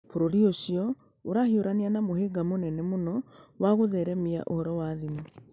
Bũrũri ũcio ũrahiũrania na mũhĩnga mũnene mũno wa gũtheremia ũhoro wa thimũ.